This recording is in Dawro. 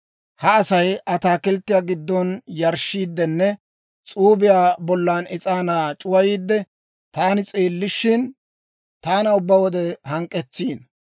Ha Asay ataakilttiyaa giddon yarshshiiddenne s'uubiyaa bollan is'aanaa c'uwayiidde, taani s'eellishin, taana ubbaa wode hank'k'etsiino.